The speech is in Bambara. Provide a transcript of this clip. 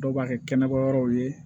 Dɔw b'a kɛ kɛnɛma yɔrɔw ye